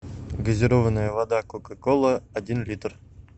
газированная вода кока кола один литр